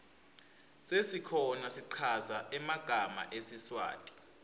sesikhona schaza magama sesiswati